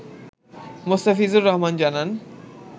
মোস্তাফিজুর রহমান জানান